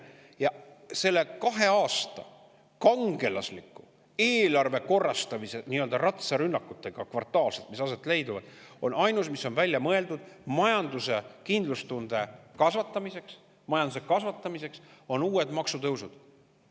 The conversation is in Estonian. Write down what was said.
Ja ainus, mis on kahe aasta jooksul, kui on kvartaalselt aset leidnud kangelaslikud eelarve korrastamise ratsarünnakud, välja mõeldud kindlustunde ja majanduse kasvatamiseks, on uued maksutõusud.